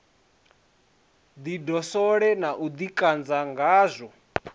ḓidoswole na u ḓikanzwa ngazwo